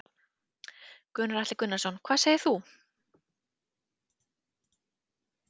Gunnar Atli Gunnarsson: Hvað segir þú?